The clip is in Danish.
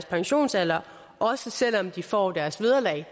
pensionsalderen også selv om de får deres vederlag